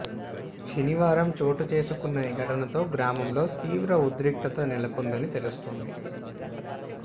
శనివారం చోటుచేసుకున్న ఈ ఘటనతో గ్రామంలో తీవ్ర ఉద్రిక్తత నెలకొందని తెలుస్తోంది